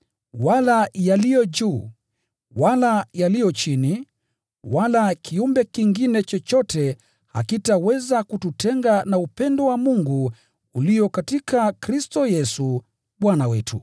wala yaliyo juu, wala yaliyo chini, wala kiumbe kingine chochote zitaweza kututenga na upendo wa Mungu ulio katika Kristo Yesu, Bwana wetu.